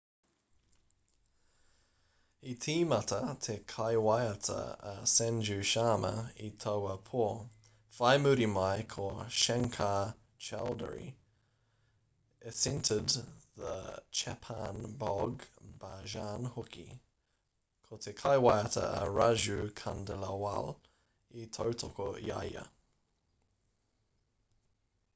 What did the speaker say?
i tīmata te kaiwaiata a sanju sharma i taua pō whai muri mai ko shankar choudhary esented the chhappan bhog bhajan hoki ko te kaiwaiata a raju khandelwal i tautoko i a ia